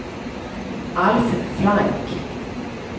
Alf Frank